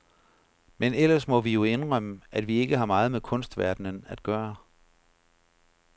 Men ellers må vi jo indrømme, at vi ikke har meget med kunstverdenen at gøre.